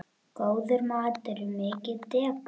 Góður matur er mikið dekur.